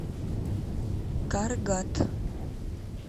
каргат